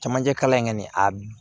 Camancɛ kalan in kɔni a